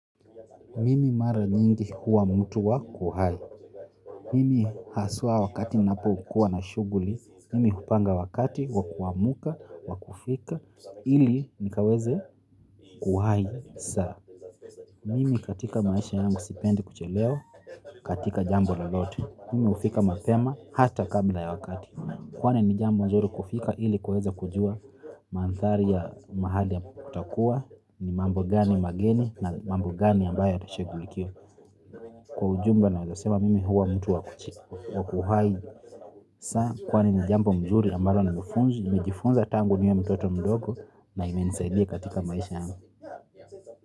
Mimi mara nyingi huwa mtu wa kuhai. Mimi haswa wakati ninapo kuwa na shughuli. Mimi hupanga wakati wa kuamka wa kufika ili nikaweze kuhai saa. Mimi katika maisha yangu sipendi kuchelewa katika jambo lolote. Mimi hufika mapema hata kabla ya wakati. Kwani ni jambo nzuri kufika ili kuweza kujua manthari ya mahali ya utakuwa, ni mambo gani mageni na mambo gani ambayo atashughulikia. Kwa ujumla naweza sema mimi huwa mtu wa kuchika. Wakuhaidi. Kwani ni jambo nzuri ambayo mejifunza tangu niwe mtoto mdogo na imenisaidia katika maisha yangu.